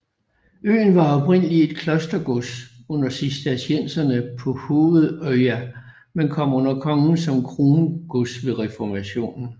Øen var oprindelig et klostergods under Cistercienserne på Hovedøya men kom under kongen som krongods ved reformationen